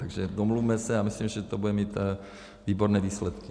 Takže domluvme se, a myslím, že to bude mít výborné výsledky.